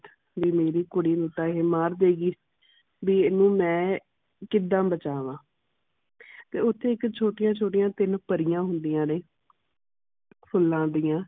ਵੀ ਮੇਰੀ ਕੁੜੀ ਨੂੰ ਤਾ ਇਹ ਮਾਰ ਦੇਗੀ ਵੀ ਏਨੂੰ ਮੈ ਕਿਦਾ ਬਚਾਵਾਂ ਤੇ ਉਥੇ ਇਕ ਛੋਟੀਆਂ ਛੋਟੀਆਂ ਤਿੰਨ ਪਰੀਆਂ ਹੁੰਦੀਆਂ ਨੇ ਫੁਲਾ ਦੀਆ